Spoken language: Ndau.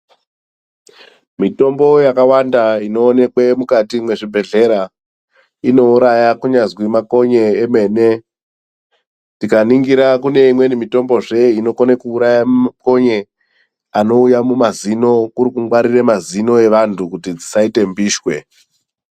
Mitombo yakawanda inoonekwe mukati mwezvibhedhlera inouraya kunyazi makonye emene. Tikaningira kune imweni mitombozve inokone kuuraya makonye anouye mumazino kurikungwarire mazino evantu kuti dzisaite mbiswe.